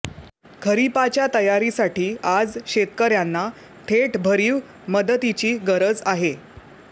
खरीपाच्या तयारीसाठी आज शेतकऱ्यांना थेट भरीव मदतीची गरज आहे